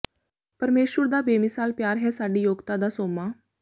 ਪਰਮੇਸ਼ੁਰ ਦਾ ਬੇਮਿਸਾਲ ਪਿਆਰ ਹੈ ਸਾਡੀ ਯੋਗਤਾ ਦਾ ਸੋਮਾ